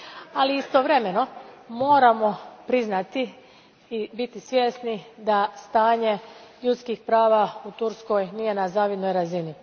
Ali istovremeno, moramo priznati i biti svjesni da stanje ljudskih prava u Turskoj nije na zavidnoj razini.